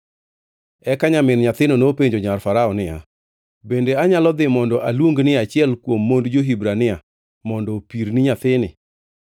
Eka nyamin nyathino nopenjo nyar Farao niya, “Bende anyalo dhi mondo aluongni achiel kuom mond jo-Hibrania mondo opirni nyathini.”